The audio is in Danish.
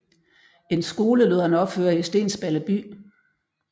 En skole lod han opføre i Stensballe by